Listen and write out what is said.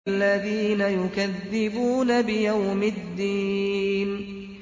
الَّذِينَ يُكَذِّبُونَ بِيَوْمِ الدِّينِ